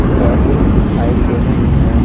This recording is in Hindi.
बसे से दिखाई दे रही है ।